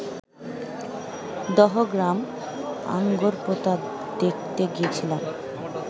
দহগ্রাম আঙ্গরপোতা দেখতে গিয়েছিলাম